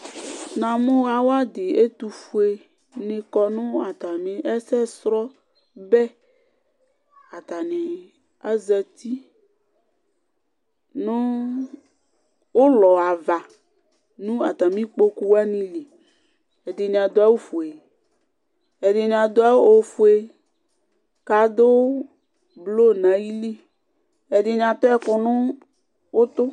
ɲɑmũ ɑwɑɗi ɛtụfụɛ ṅikɔ ɲɛsɛcrọbé ɑtɑɲi ɑzɑti ɲụ ωlɔɑvɑ ɲụ ɑtɑmikpọkụ wɑɲili ɛɗiɲiɑɗuɑwụ fuɛ kɑɗu blu ɲɑyili ɛɗiɑtuɛkuɲutʊ